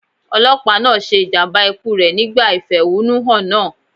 Ọlọ́pàá náà ṣe ìjàmbá ikú rẹ̀ nígbà ìfẹ̀húnú hàn náà.